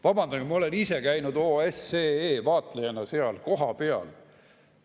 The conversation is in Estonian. Vabandage, ma olen ise käinud OSCE vaatlejana seal kohapeal.